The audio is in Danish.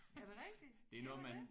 Er det rigtigt? Siger man det?